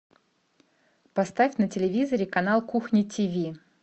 поставь на телевизоре канал кухня тиви